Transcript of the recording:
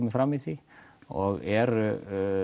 fram í því og eru